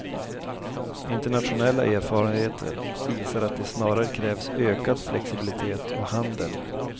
Internationella erfarenheter visar att det snarare krävs ökad flexibilitet och handel.